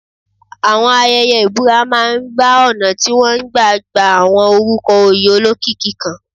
Àwọn ayẹyẹ ìbúra máa ń bá ọ̀nà tí wọ́n gbà ń gba àwọn orúkọ oyè olókìkí kan.